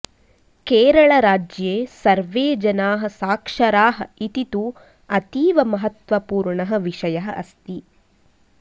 केरलराज्ये सर्वे जनाः साक्षराः इति तु अतीव महत्वपूर्णः विषयः अस्ति